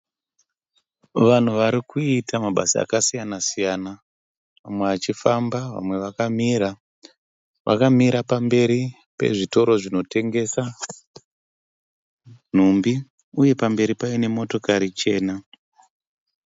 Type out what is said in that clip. Vanhu varikuita mabasa akasiyana siyana. Vamwe vachifamba vamwe vakamira. Vakamira pamberi pezvitoro zvinotengesa nhumbi, uye pamberi paine motokari chana.